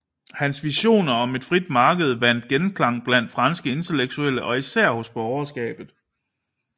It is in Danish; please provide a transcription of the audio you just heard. Hans visioner om et frit marked vandt genklang blandt franske intellektuelle og især hos borgerskabet